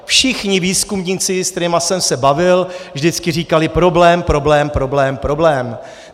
Všichni výzkumníci, se kterými jsem se bavil, vždycky říkali: problém, problém, problém, problém.